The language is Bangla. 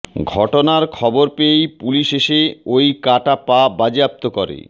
ঘটনার খবর পেয়েই পুলিশ এসে ওই কাটা পা বাজেয়াপ্ত করে